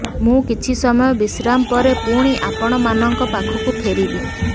ମୁଁ କିଛି ସମୟ ବିଶ୍ରାମ ପରେ ପୁଣି ଆପଣମାନଙ୍କ ପାଖକୁ ଫେରିବି